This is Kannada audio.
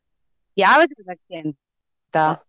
ಯಾವಾಗಾಸ ಬರ್ತೇನೆ .